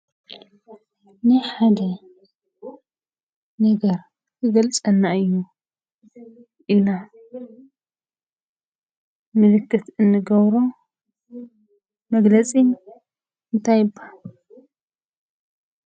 ናይ ሓደ ነገር ክገልፀልና እዩ ኢልና ምልክት እንገብሮ መግለፂ እንታይ ይብሃል?